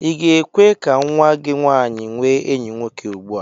I ga-ekwe ka nnwa gị nwaanyị nwee enyi nwoke ugbu a?